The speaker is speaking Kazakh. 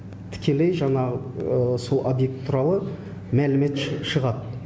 тікелей жанағы сол объект туралы мәлімет шығады